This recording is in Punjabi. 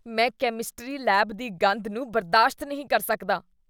ਮੈਂ ਕੈਮਿਸਟਰੀ ਲੈਬ ਦੀ ਗੰਧ ਨੂੰ ਬਰਦਾਸ਼ਤ ਨਹੀਂ ਕਰ ਸਕਦਾ।